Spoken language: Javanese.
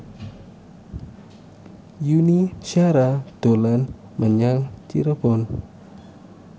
Yuni Shara dolan menyang Cirebon